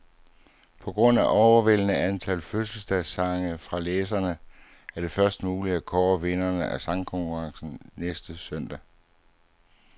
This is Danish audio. På grund af overvældende antal fødselsdagssange fra læserne, er det først muligt at kåre vinderne af sangkonkurrencen næste søndag.